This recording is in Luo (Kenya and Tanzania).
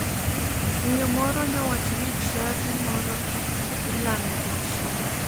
Miyo moro nyowacho ni chadi moro ilame jachien.